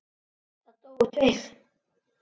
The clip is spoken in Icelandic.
Það dóu tveir.